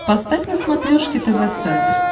поставь на смотрешке тв центр